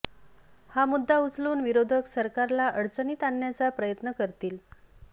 हा मुद्दा उचलून विरोधक सरकारला अडचणीत आणण्याचा प्रयत्न करतील